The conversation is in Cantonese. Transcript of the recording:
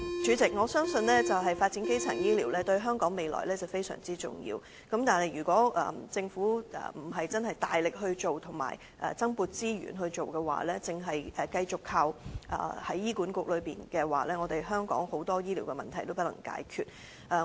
主席，我相信發展基層醫療對香港的未來非常重要，但如果政府並非大力及增撥資源推行，只是繼續由醫院管理局負責推動，則香港很多醫療問題將不能解決。